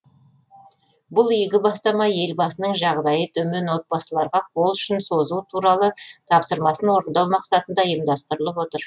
бұл игі бастама елбасының жағдайы төмен отбасыларға қол ұшын созу туралы тапсырмасын орындау мақсатында ұйымдастырылып отыр